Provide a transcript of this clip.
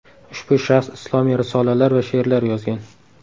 Ushbu shaxs islomiy risolalar va she’rlar yozgan.